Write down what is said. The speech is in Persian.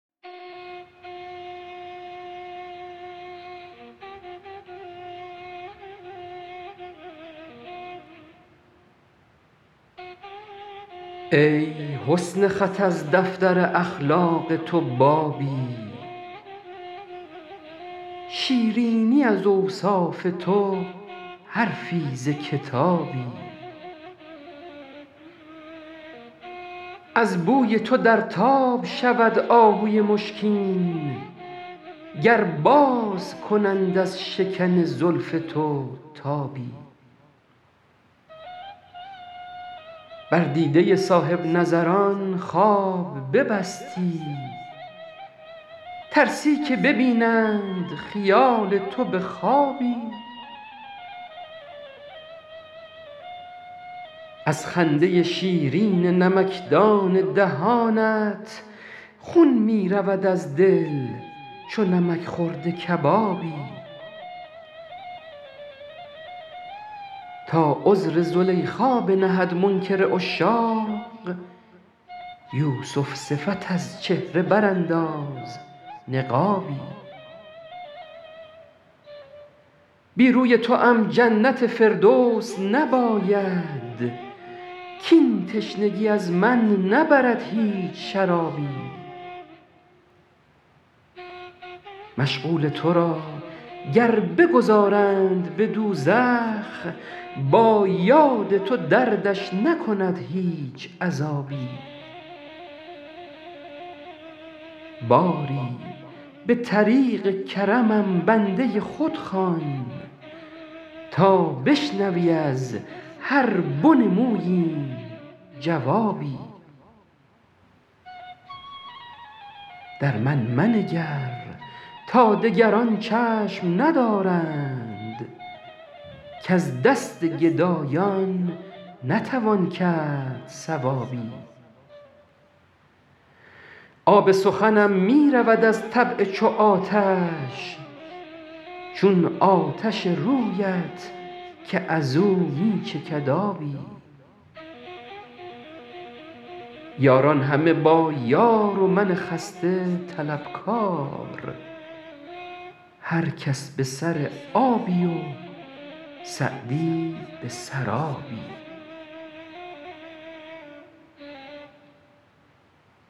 ای حسن خط از دفتر اخلاق تو بابی شیرینی از اوصاف تو حرفی ز کتابی از بوی تو در تاب شود آهوی مشکین گر باز کنند از شکن زلف تو تابی بر دیده صاحب نظران خواب ببستی ترسی که ببینند خیال تو به خوابی از خنده شیرین نمکدان دهانت خون می رود از دل چو نمک خورده کبابی تا عذر زلیخا بنهد منکر عشاق یوسف صفت از چهره برانداز نقابی بی روی توام جنت فردوس نباید کاین تشنگی از من نبرد هیچ شرابی مشغول تو را گر بگذارند به دوزخ با یاد تو دردش نکند هیچ عذابی باری به طریق کرمم بنده خود خوان تا بشنوی از هر بن موییم جوابی در من منگر تا دگران چشم ندارند کز دست گدایان نتوان کرد ثوابی آب سخنم می رود از طبع چو آتش چون آتش رویت که از او می چکد آبی یاران همه با یار و من خسته طلبکار هر کس به سر آبی و سعدی به سرابی